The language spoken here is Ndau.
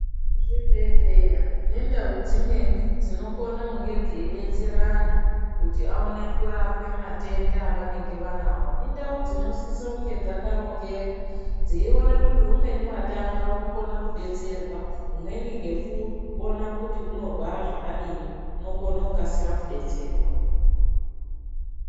Zvibhedhleya nendau dzimweni dzinokone kunge dzeidetsera anhu kuti aone kurapwe matenda avanenge vanawo indau dzinosise kunge dzakatongeka dzeione kuti umweni watanga unokona kudetserwa umweni ngekuona kuti unorwara zvakadini unokona kudetserwa.